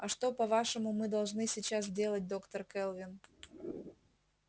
а что по-вашему мы должны сейчас делать доктор кэлвин